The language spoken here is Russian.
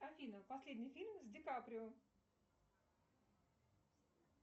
афина последний фильм с ди каприо